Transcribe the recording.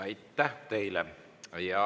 Aitäh teile!